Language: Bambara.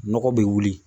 Nɔgɔ bɛ wuli